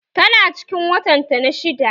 Tana cikin watan ta na shidda